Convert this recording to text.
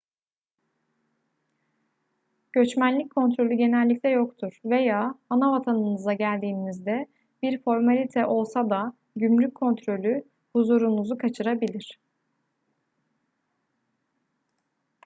göçmenlik kontrolü genellikle yoktur veya anavatanınıza geldiğinizde bir formalite olsa da gümrük kontrolü huzurunuzu kaçırabilir